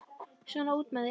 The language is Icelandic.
Svona, út með þig!